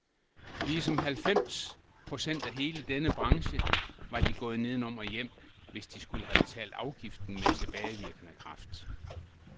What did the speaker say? Ligesom halvfems procent af hele denne branche var de gået nedenom og hjem, hvis de skulle have betalt afgiften med tilbagevirkende kraft.